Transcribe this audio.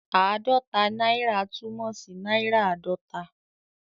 Ààdọ́ta náírà' túmọ̀ sí náírà àádọ́ta.